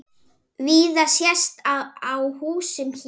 Víða sést á húsum hér.